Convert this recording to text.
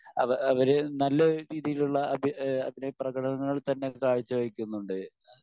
അപ്പൊ അവ അവര് നല്ല രീതിയിലുള്ള അഭിനയ പ്രകടനങ്ങൾ തന്നെ കാഴ്ച വയ്ക്കുന്നുണ്ട്.